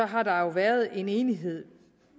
har været en enighed